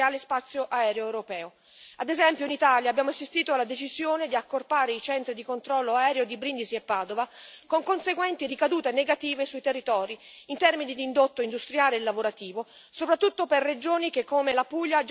Ad esempio, in Italia, abbiamo assistito alla decisione di accorpare i centri di controllo aereo di Brindisi e Padova, con conseguenti ricadute negative sui territori in termini di indotto industriale e lavorativo, soprattutto per regioni che, come la Puglia, già risentono di ritardi nello sviluppo.